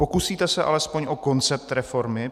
Pokusíte se alespoň o koncept reformy?